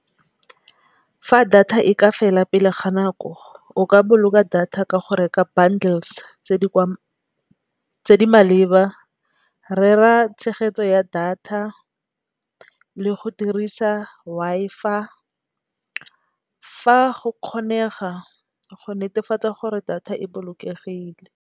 Fa data e ka fela pele ga nako o ka boloka data ka go reka bundles tse di maleba, rera tshegetso ya data le go dirisa Wi-Fi fa go kgonega go netefatsa gore data e bolokegile.